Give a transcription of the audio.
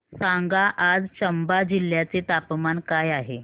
सांगा आज चंबा जिल्ह्याचे तापमान काय आहे